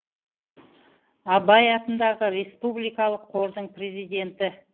абай атындағы республикалық қордың президенті